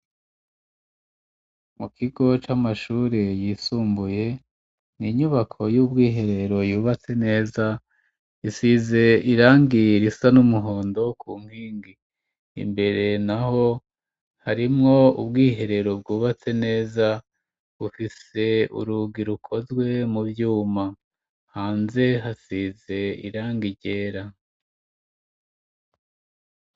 Mu kigo c'amashure, yisumbuye, ni inyubako y'ubwiherero, yubatse neza, isize irangi risa n'umuhondo, ku nkingi; imbere naho, harimwo ubwiherero, bwubatse neza, bufise urugi, rukozwe mu vyuma; hanze hasize irangi ryera.